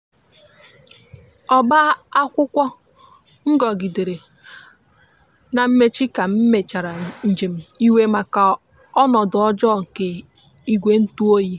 ọba akwụkwo ngogidere na mmechi ka emechara njem iwe maka ọnodo ọjọ nke igwe ntụ ọyi